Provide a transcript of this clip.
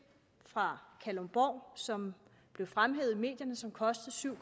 fra kalundborg som blev fremhævet i medierne som kostede syv